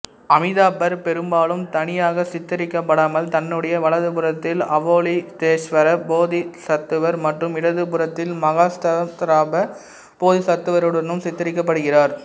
அமிதாபர் பெரும்பாலும் தனியாக சித்தரிக்கப்படாமல் தன்னுடைய வலது புறத்தில் அவலோகிதேஷ்வர போதிசத்துவர் மற்றும் இடது புறத்தில் மஹாஸ்தாமப்ராப்த போதிசத்துவருடனும் சித்தரிக்கப்படுகிறார்